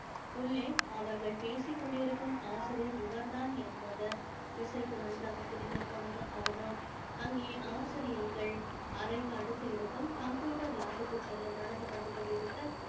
உள்ளே அவர்கள் பேசிக் கொண்டிருக்கும் ஆசிரியர் இவர் தான் என்பது இசைக்கு நன்றாக புரிந்து போனது அவனோ அங்கே ஆசிரியைகள் அறைக்கு அடுத்து இருக்கும் computer lab க்கு செல்ல நடந்து வந்து கொண்டிருக்க